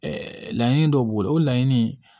laɲini dɔ b'o la o laɲini